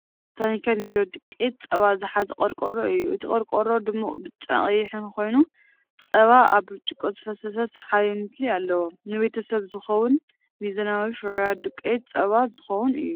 ታኒካ ኒዶ ዱቄት ጸባ ዝሓዘ ቆርቆሮ እዩ። እቲ ቆርቆሮ ድሙቕ ብጫን ቀይሕን ኮይኑ፡ ጸባ ኣብ ብርጭቆ ዝፈስስ ሰሓቢ ምስሊ ኣለዎ። ንቤተሰብ ዝኸውን ሚዛናዊ ፍርያት ዱቄት ጸባ ዝውክል እዩ።